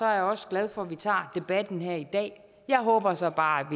jeg også glad for at vi tager debatten her i dag jeg håber så bare